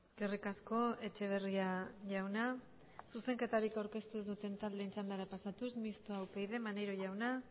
eskerrik asko etxeberria jauna zuzenketarik aurkeztu ez duten taldeen txandara pasatuz mistoa upyd maneiro jauna